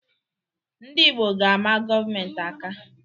Ndị Igbo ga-ama gọọmentị aka.